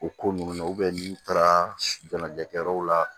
O ko ninnu na n'u taara jɛnɛkɛyɔrɔw la